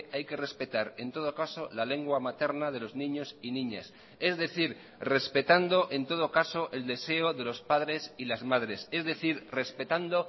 hay que respetar en todo caso la lengua materna de los niños y niñas es decir respetando en todo caso el deseo de los padres y las madres es decir respetando